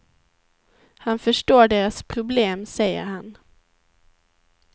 Han förstår deras problem, säger han.